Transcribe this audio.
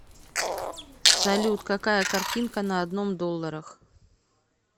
салют какая картинка на одном долларах